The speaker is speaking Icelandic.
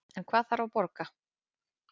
En hvað þarf að borga